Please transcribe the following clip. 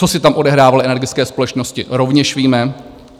Co si tam odehrávaly energické společnosti, rovněž víme.